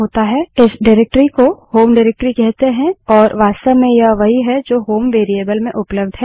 इस निर्देशिकाडाइरेक्टरी को होम निर्देशिकाडाइरेक्टरी कहते हैं और यह वास्तव में यह वही है जो होम वेरिएबल में उपलब्ध है